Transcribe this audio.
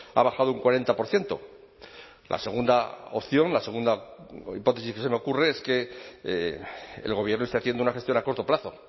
ha bajado un cuarenta por ciento la segunda opción la segunda hipótesis que se me ocurre es que el gobierno esté haciendo una gestión a corto plazo